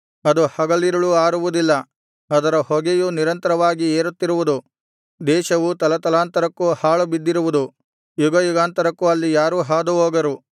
ಅದು ಹಗಲಿರುಳೂ ಆರುವುದಿಲ್ಲ ಅದರ ಹೊಗೆಯು ನಿರಂತರವಾಗಿ ಏರುತ್ತಿರುವುದು ದೇಶವು ತಲತಲಾಂತರಕ್ಕೂ ಹಾಳು ಬಿದ್ದಿರುವುದು ಯುಗಯುಗಾಂತರಕ್ಕೂ ಅಲ್ಲಿ ಯಾರೂ ಹಾದು ಹೋಗರು